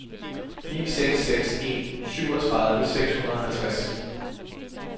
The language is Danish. ni seks seks en syvogtredive seks hundrede og halvtreds